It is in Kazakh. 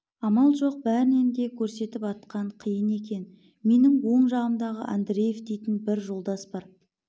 амал жоқ бәрінен де көрсетіп атқан қиын екен менің оң жағымда андреев дейтін бір жолдас бар